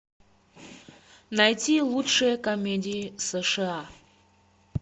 найти лучшие комедии сша